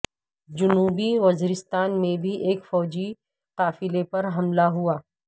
جنوبی وزیرستان میں بھی ایک فوجی قافلے پر حملہ ہوا ہے